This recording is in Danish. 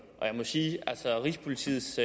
og jeg må sige at rigspolitiets